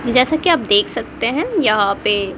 जैसा कि आप देख है यहां पे--